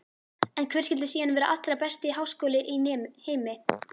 En hver skyldi síðan vera allra besti háskóli í heimi?